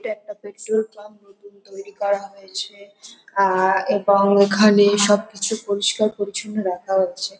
এটা একটা petrol pump নতুন তৈরি করা হয়েছে আআআআ এবং এখানেএএ সবকিছু পরিষ্কার পরিচ্ছন্ন রাখা হচ্ছে।